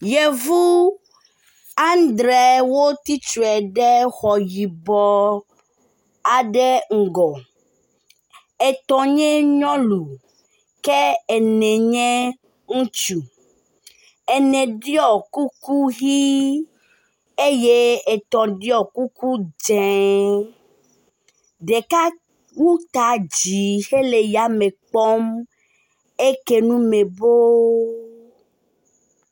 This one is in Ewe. Yevu andre wotsitre ɖe xɔ yibɔ aɖe ŋgɔ. Etɔ̃ nye nyɔnu ke ene nye ŋutsu. Ene ɖɔ kuku ʋi eye etɔ̃ ɖɔ kuku dzɛ. Ɖeka wu ta dzi hele yame kpɔm. Eke nu me boo.